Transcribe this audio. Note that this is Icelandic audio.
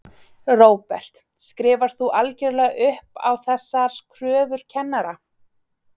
Róbert: Skrifar þú algjörlega upp á þessar kröfur kennara?